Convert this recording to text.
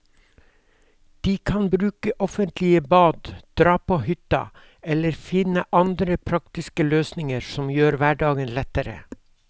De kan bruke offentlige bad, dra på hytta eller finne andre praktiske løsninger som gjør hverdagen lettere.